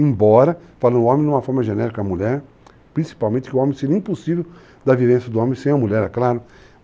Embora, falando o homem de uma forma genérica a mulher, principalmente que o homem seria impossível da vivência do homem sem a mulher, é claro.